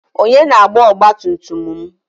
Onye na-agba ọgbatumtum m?